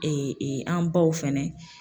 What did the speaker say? an baw fɛnɛ